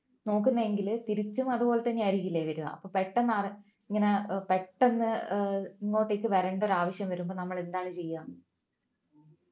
നോക്കുന്നതെങ്കിൽ തിരിച്ചും അതുപോലെ തന്നെ ആയിരിക്കുമല്ലേ വരുക അപ്പൊ പെട്ടെന്നാണ് ഇങ്ങനെ ഏർ പെട്ടെന്ന് ഏർ ഇങ്ങോട്ടേക്ക് വരണ്ട ഒരു ആവശ്യം വരുമ്പോൾ നമ്മൾ എന്താണ് ചെയ്യുക